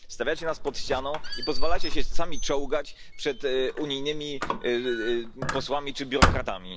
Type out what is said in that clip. Stawiacie nas pod ścianą i pozwalacie się sami czołgać przed unijnymi posłami czy biurokratami.